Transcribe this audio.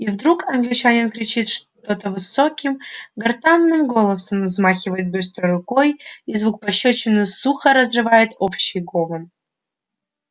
и вдруг англичанин кричит что-то высоким гортанным голосом взмахивает быстро рукой и звук пощёчины сухо разрывает общий гомон